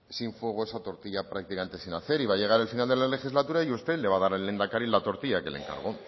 sin fuego esa tortilla prácticamente sin hacer y va a llegar el final de la legislatura y usted le va a dar al lehendakari la tortilla que le encargó